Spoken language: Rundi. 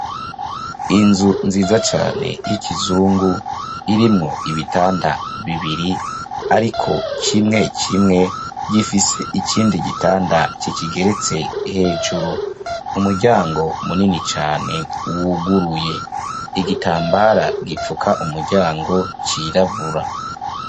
Inzu nziza cane y’ikizungu irimwo ibitanda bibiri ariko kimwe kimwe gifise ikindi gitanda kikigeretse hejuru, umuryango munini cane, wuguruye igitambara gipfuka umuryango cirabura.